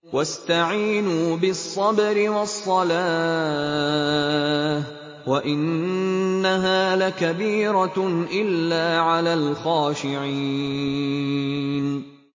وَاسْتَعِينُوا بِالصَّبْرِ وَالصَّلَاةِ ۚ وَإِنَّهَا لَكَبِيرَةٌ إِلَّا عَلَى الْخَاشِعِينَ